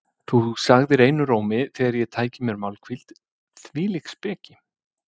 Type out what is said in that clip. Þú segðir einum rómi þegar ég tæki mér málhvíld: Hvílík speki!